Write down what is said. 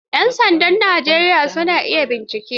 Yan sandan Najeriya sun iya bincike.